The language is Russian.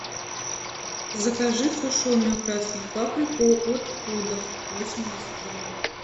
закажи сушеную красную паприку от пудов восемьдесят грамм